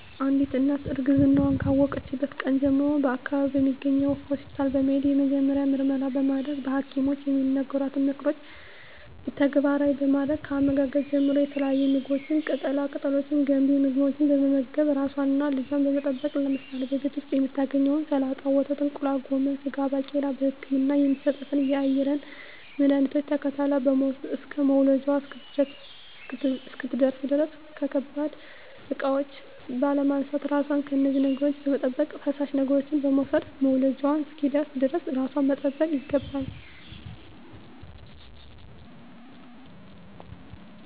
አንዲት እናት እርግዝናዋን ካወቀችበት ቀን ጀምሮ በአካባቢዋ በሚገኝ ሆስፒታል በመሄድ የመጀመሪያ ምርመራ በማድረግ በሀኪሞች የሚነገሯትን ምክሮች ተግባራዊ በማድረግ ከአመጋገብ ጀምሮ የተለያዩ ምግቦች ቅጠላ ቅጠሎች ገንቢ ምግቦች በመመገብ ራሷንና ልጇን በመጠበቅ ለምሳሌ በቤት ዉስጥ የምታገኛቸዉን ሰላጣ ወተት እንቁላል ጎመን ስጋ ባቄላ በህክምና የሚሰጣትን የአይረን መድሀኒቶች ተከታትላ በመዉሰድ እስከ መዉለጃዋ እስክትደርስ ድረስ ከባድ እቃዎች ባለማንሳት ራሷን ከነዚህ ነገሮች በመጠበቅ ፈሳሽ ነገሮችን በመዉሰድ መዉለጃዋ እስኪደርስ ድረስ ራሷን መጠበቅ ይገባል